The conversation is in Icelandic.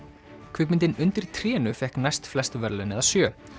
kvikmyndin undir trénu fékk næstflest verðlaun eða sjö